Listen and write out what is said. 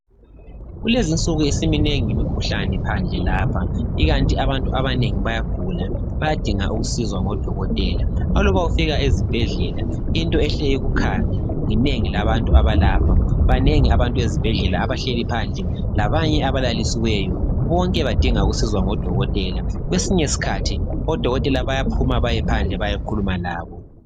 Kulezinsuku simnengi imkhuhlane lapha ikanti abantu abanengi bayagula , bayadingwa ukusizwa ngodokotela , aluba ufika ezibhedlela into ehle ikukhange linengi labantu abalapha , banengi abantu ezibhedlela abahleli phandle labanye abalalisiweyo , bonke badinga ukusizwa ngodokotela , kwesinye iskhathi odokotela bayaphuma bayephandle bayekhuluma labo